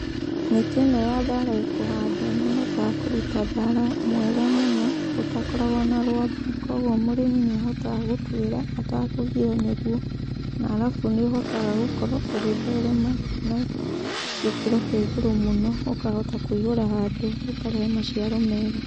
Mĩtĩ ĩno ya thaara ĩkũhandwo nĩ ĩhotaga kũruta thaara mwega mũno, ũtakoragwa na rwamba, koguo mũrĩmi nĩ ahotaga gũtuĩra atakagiyo nĩguo. Na arabu nĩ ũhotaga gũkorwo ũgĩtherema na gĩkĩro kĩa igũrũ mũno ũkahota kũihũra handũ ũkarehe maciaro mega.